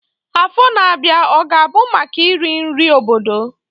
Afọ na-abịa ọ ga-abụ maka iri nri obodo?